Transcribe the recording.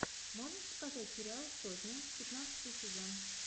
можешь показать сериал сотня пятнадцатый сезон